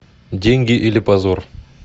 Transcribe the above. деньги или позор